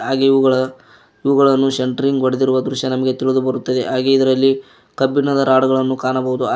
ಹಾಗೆ ಇವುಗಳ ಇವುಗಳನ್ನು ಸೆಂಟ್ರಿಂಗ್ ಹೊಡೆದಿರುವ ದೃಶ್ಯ ನಮಗೆ ತಿಳಿದು ಬರುತ್ತದೆ ಹಾಗೆ ಇದರಲ್ಲಿ ಕಬ್ಬಿಣದ ರಾಡ್ ಗಳನ್ನು ಕಾಣಬಹುದು.